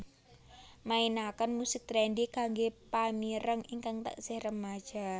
mainaken musik trendy kanggé pamireng ingkang taksih remaja